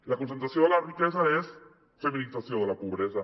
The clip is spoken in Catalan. la concentració de la riquesa és feminització de la pobresa